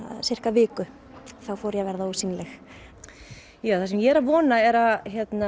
viku þá fór ég að verða ósýnileg það sem ég vona er að